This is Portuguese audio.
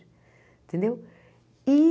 Entendeu? E